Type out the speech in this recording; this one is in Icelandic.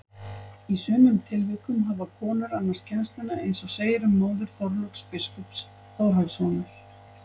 Í sumum tilvikum hafa konur annast kennsluna eins og segir um móður Þorláks biskups Þórhallssonar.